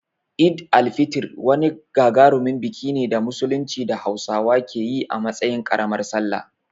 Eid al-Fitr wani gagarumin biki ne na Musulunci da Hausawa ke yi a matsayin ƙaramar Sallah.